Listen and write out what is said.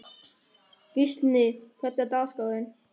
Gíslný, hvernig er dagskráin?